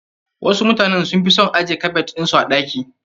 Wasu mutanen sun fi son ajje kabad ɗin su a ɗaki.